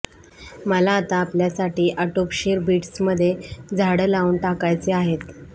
मला आता आपल्यासाठी आटोपशीर बिट्स मध्ये झाडं लावून टाकायचे आहेत